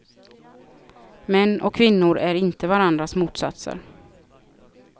Män och kvinnor är inte varandras motsatser.